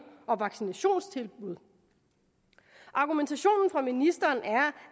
og vaccinationstilbud argumentationen fra ministeren er